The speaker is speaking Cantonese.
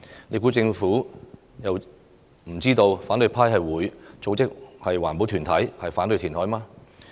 難道政府不知道反對派會組織環保團體反對填海嗎？